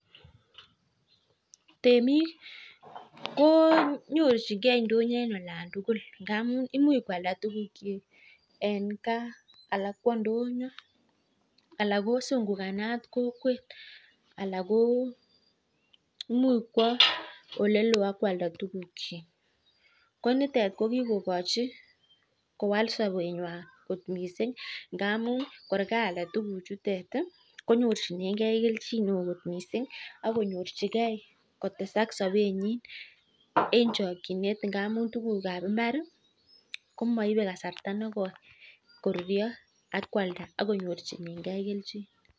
Temik ko nyorchinige indonyo en olan tugul ingamuun ih imuch koalda tukuk chik en en kaa anan kwo indonyo Alan ko sungukanat kokwet Alan ko imuche kwo olelo akobo kwalda tuguk chik ko nitet ko kikokochi missing ngamun kor kaalda tuguk chu ko nyorchinige kelchin neoo kot missing akonyorchige kotesak sabet nyin en chakchinet ngamun tuguk kab Imbar ih komaibe kasarta negoi koruyo akoalda konyorchike kelchin